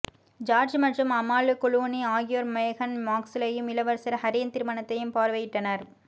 George மற்றும் Amal Clooney ஆகியோர் மேகன் மார்க்லையும் இளவரசர் ஹரியின் திருமணத்தையும் பார்வையிட்டனர்